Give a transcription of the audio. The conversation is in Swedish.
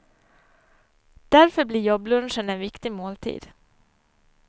Därför blir jobblunchen en viktig måltid.